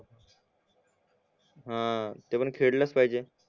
हा ते पण खेडलाच पाहिजे